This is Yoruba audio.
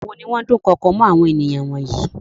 Àwọn wo ni wọ́n dukoko mọ́ àwọn ènìyàn wọ̀nyí?